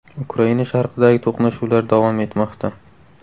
Ukraina sharqidagi to‘qnashuvlar davom etmoqda.